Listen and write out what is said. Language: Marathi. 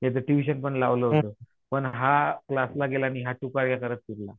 त्याचं ट्युशन पण लावलं होतं पण हा क्लास ला गेला नाही हा टूकारक्या करत फिरला